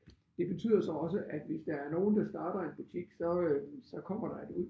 Det betyder så også at hvis der er nogen der starter en butik så øh så kommer der et ud